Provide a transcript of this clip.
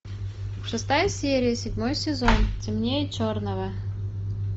шестая серия седьмой сезон темнее черного